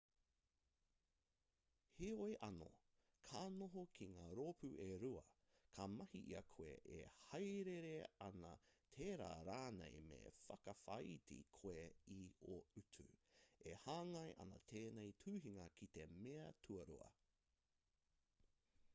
heoi anō ka noho ki ngā rōpū e rua ka mahi i a koe e hāereere ana tērā rānei me whakawhāiti koe i ō utu e hāngai ana tēnei tuhinga ki te mea tuarua